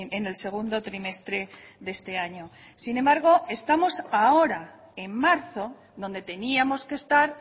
en el segundo trimestre de este año sin embargo estamos ahora en marzo donde teníamos que estar